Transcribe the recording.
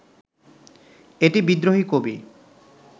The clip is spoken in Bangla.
এটি বিদ্রোহী কবি